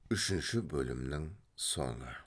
үшінші бөлімнің соңы